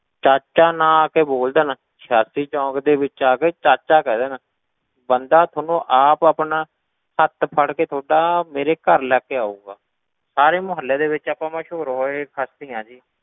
ਚਾਚਾ ਨਾਂ ਆ ਕੇ ਬੋਲ ਦੇਣ ਛਾਤੀ ਚੌਂਕ ਦੇ ਵਿੱਚ ਆ ਕੇ ਚਾਚਾ ਕਹਿ ਦੇਣ, ਬੰਦਾ ਥੋਨੂੰ ਆਪ ਆਪਣਾ ਹੱਥ ਫੜਕੇ ਤੁਹਾਡਾ ਮੇਰੇ ਘਰ ਲੈ ਕੇ ਆਊਗਾ, ਸਾਰੇ ਮੁਹੱਲੇ ਦੇ ਵਿੱਚ ਆਪਾਂ ਮਸ਼ਹੂਰ ਹੋਈ ਹਸਤੀ ਹਾਂ ਜੀ,